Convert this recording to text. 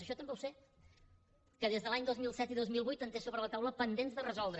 això també ho sé que des dels anys dos mil set i dos mil vuit en té sobre la taula pendents de resoldre